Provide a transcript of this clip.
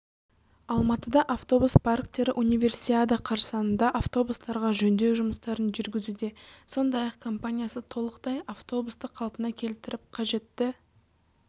алматыда автобус парктері универсиада қарсаңында автобустарға жөндеу жұмыстарын жүргізуде сондай-ақ компаниясы толықтай авутобусты қалпына келтіріп қажетті